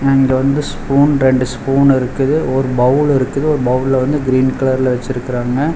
And வந்து spoon ரெண்டு spoon இருக்குது ஒரு பௌல் இருக்குது ஒரு பௌல்ல வந்து கிரீன் கலர்ல வச்சுருக்கறாங்க.